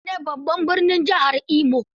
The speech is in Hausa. Owerri ne babban birnin jihar Imo.